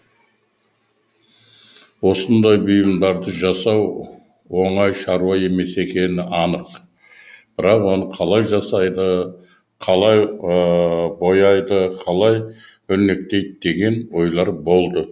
осындай бұйымдарды жасау оңай шаруа емес екені анық бірақ оны қалай жасайды қалай бояйды қалай өрнектейді деген ойлар болды